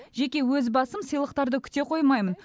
жеке өз басым сыйлықтарды күте қоймаймын